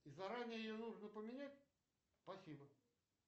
и заранее ее нужно поменять спасибо